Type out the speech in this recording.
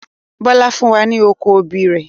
Bọlá fún wa ní oko obì rẹ̀